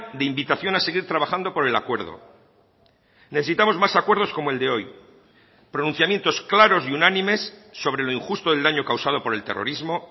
de invitación a seguir trabajando por el acuerdo necesitamos más acuerdos como el de hoy pronunciamientos claros y unánimes sobre lo injusto del daño causado por el terrorismo